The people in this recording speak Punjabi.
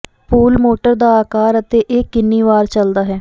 ਪੂਲ ਮੋਟਰ ਦਾ ਆਕਾਰ ਅਤੇ ਇਹ ਕਿੰਨੀ ਵਾਰ ਚੱਲਦਾ ਹੈ